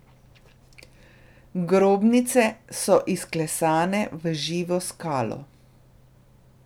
Grobnice so izklesane v živo skalo.